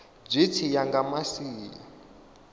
zwi tshi ya nga masia